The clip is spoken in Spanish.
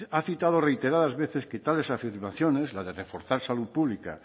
ha citado reiteradas veces que tales afirmaciones la de reforzar salud pública